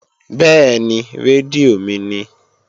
Bẹ́ẹ̀ni, rédíò mi ni